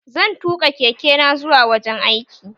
Zan tuƙa keke na zuwa wajen aiki